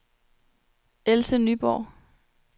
Else Nyborg